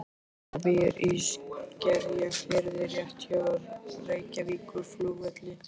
Hún býr í Skerjafirði rétt hjá Reykjavíkurflugvelli.